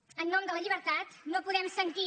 en nom de la llibertat no podem sentir